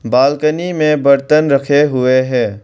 Balcony में बर्तन रखे हुए हैं।